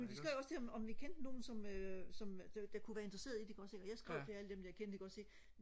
de skrev også til mig om vi kendte nogle som øh som øh der kunne være interesserede i det ikke også og jeg skrev til alle dem jeg kendte ikke også